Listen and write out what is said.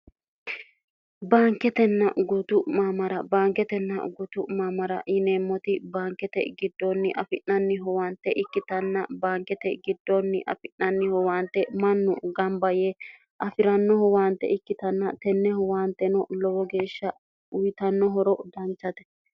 baanketenna gutu maamara baanketenna gutu maamara yineemmoti baankete giddoonni afi'nanniho waante ikkitanna baankete giddoonni afi'nanniho waante mannu gamba yee afi'rannoho waante ikkitanna tenneho waanteno lowo geeshsha uyitannohoro danchate